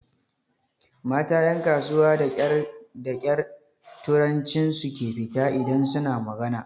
Mata ƴan kasuwa da ƙyar turancin su ke fita idan su na magana.